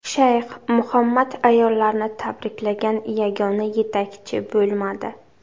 Shayx Muhammad ayollarni tabriklagan yagona yetakchi bo‘lmadi.